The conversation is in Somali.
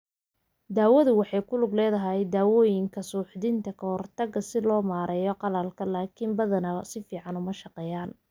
Daawadu waxay ku lug leedahay dawooyinka suuxdinta ka hortagta si loo maareeyo qalalka, laakiin badanaa si fiican uma shaqeeyaan.